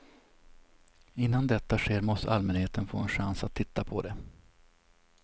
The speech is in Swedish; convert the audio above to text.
Innan detta sker måste allmänheten få en chans att titta på det.